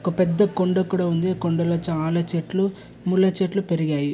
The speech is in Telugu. ఒక పెద్ద కొండ కూడ ఉంది. అ కొండలో చాల చెట్లు ముళ్ల చెట్లు పెరిగాయి.